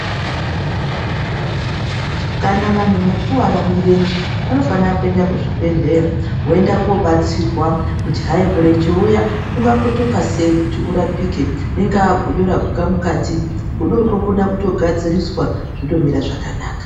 Kana vanhu vakuvara mirenje vanofana kuenda kuzvibhedhlera voenda kobatsirwa kuti hayi murenje uya unga kotoka sei kuti urapike ingaa godo raguka mukati godo ro rokona kutogadziriswa zvotomira zvakanaka.